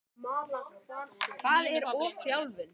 Hvað er ofþjálfun?